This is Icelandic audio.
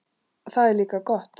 Það er líka gott.